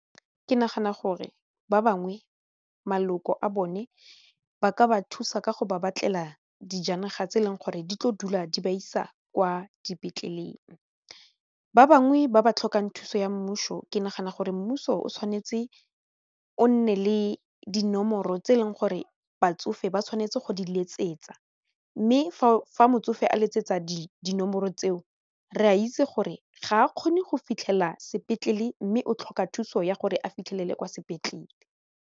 Ke nagana gore ba bangwe maloko a bone ba ka ba thusa ka go ba batlela dijanaga tse e leng gore di tlo dula di ba isa kwa dipetleleng ba bangwe ba ba tlhokang thuso ya mmuso ke nagana gore mmuso o tshwanetse o nne le dinomoro tse eleng gore batsofe ba tshwanetse go di letsetsa mme fa motsofe a letsetsa dinomoro tseo re a itse gore ga a kgone go fitlhelela sepetlele mme o tlhoka thuso ya gore a fitlhelele kwa sepetlele.